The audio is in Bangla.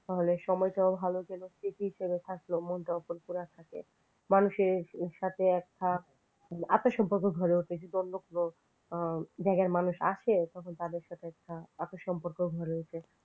তাহলে সময়টাও ভালো যাবে স্মৃতি হিসেবে থাকল মনটাও ফুরফুরা থাকে। মানুষের সাথে একটা আত্ম সম্পর্ক গড়ে ওঠে যদি অন্য কোন জায়গার মানুষ আসে তখন তাদের সঙ্গেও একটা আত্ম সম্পর্ক গড়ে ওঠে।